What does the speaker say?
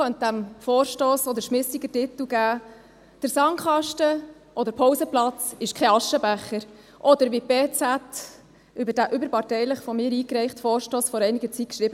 Man könnte dem Vorstoss auch den schmissigeren Titel «Der Sandkasten oder Pausenplatz ist kein Aschenbecher» geben, oder wie die Berner Zeitung (BZ) vor einiger Zeit über diesen überparteilichen, von mir eingereichten Vorstoss schrieb: